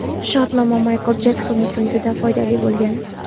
Shartnoma Maykl Jekson uchun juda foydali bo‘lgan.